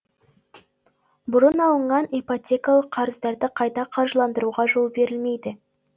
бұрын алынған ипотекалық қарыздарды қайта қаржыландыруға жол берілмейді